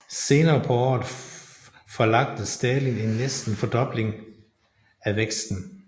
Senere på året forlagte Stalin en næsten fordobling af væksten